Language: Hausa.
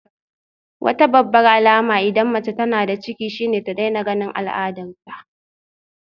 Wata babbar alama idan mace tana da ciki shine ta daina ganin al'adarta